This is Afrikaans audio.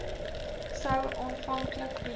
sou aanvanklik geheel